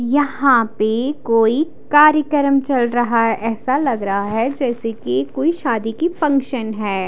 यहाँ पे कोई कार्यक्रम चल रहा है ऐसा लग रहा है जैसे कि कोई शादी की फंक्शन है।